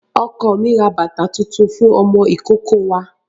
Ọkọ mi rà bàtà tuntun fún ọmọ ìkókó wa.